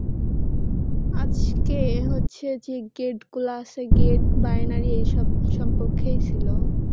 আজকে হচ্ছে যে gate গুলা আছে gate binary এই সব সম্পর্কেই ছিল